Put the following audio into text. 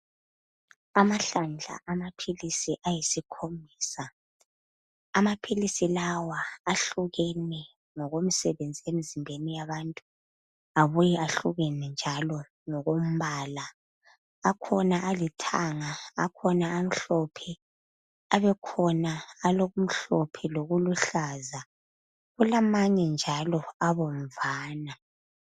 Amahlanjana amaphilisi ayisikhombisa. Amaphilisi lawa ahlukene ngokomsebenzi emizimbeni yabantu abuye ahlukene njalo ngokombala. Akhona alithanga, akhona amhlophe abe khona alo okumhlophe lokuluhlaza. Kulamanye njalo abomvana.